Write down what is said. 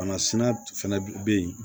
Banasina fɛnɛ bɛ yen